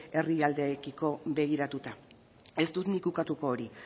herrialdeekiko begiratuta ez dut nik ukatuko hori